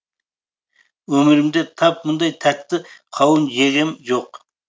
өмірімде тап мұндай тәтті қауын жегем жоқ